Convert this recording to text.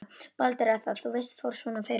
Baldur. að það, þú veist, fór svona fyrir honum.